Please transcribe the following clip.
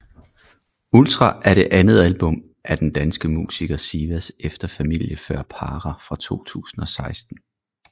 Ultra er det andet album af den danske musiker Sivas efter Familie Før Para fra 2016